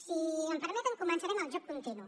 si m’ho permeten començaré amb el joc continu